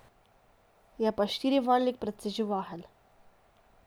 Je pa štirivaljnik precej živahen.